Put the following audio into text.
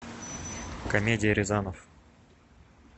комедия рязанов